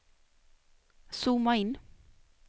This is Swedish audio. zooma in